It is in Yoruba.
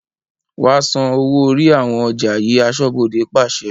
"Wa san owó orí àwọn ọjà yii" aṣọ́bodè pàṣẹ.